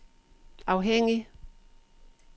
afhængig